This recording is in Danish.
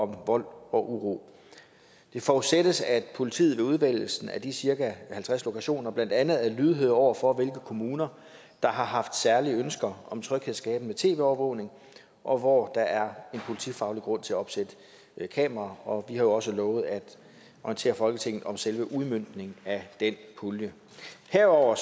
vold og uro det forudsættes at politiet ved udvælgelsen af de cirka halvtreds lokationer blandt andet er lydhøre over for hvilke kommuner der har haft særlige ønsker om tryghedsskabende tv overvågning og hvor der er en politifaglig grund til at opsætte kameraer og vi har jo også lovet at orientere folketinget om selve udmøntningen af den pulje herudover